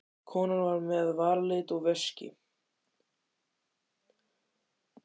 Konan var með varalit og veski.